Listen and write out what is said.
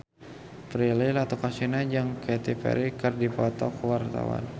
Prilly Latuconsina jeung Katy Perry keur dipoto ku wartawan